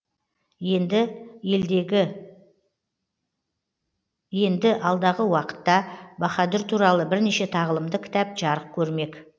енді алдағы уақытта баһадүр туралы бірнеше тағылымды кітап жарық көрмек